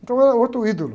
Então era o outro ídolo.